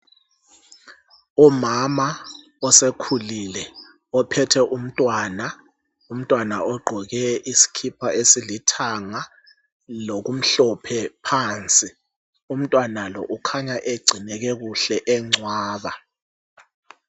Umama osekhulile, ophethe umntwana, umntwana ogqoke iskhipha esilithanga, lokumhlophe phansi. Umntwana lo kukhanya egcineke kuhle encwaba.